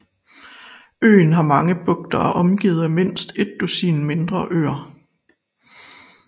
Øen har mange bugter og er omgivet af mindst et dusin mindre øer